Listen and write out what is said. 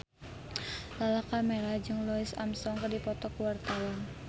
Lala Karmela jeung Louis Armstrong keur dipoto ku wartawan